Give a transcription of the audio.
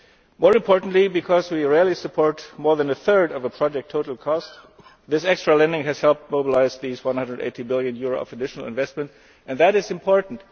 More importantly, because we rarely support more than a third of a project's total cost, this extra lending has helped mobilise at least EUR 180 billion of additional investments, and that is important.